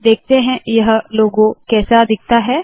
देखते है यह लोगो कैसे दिखता है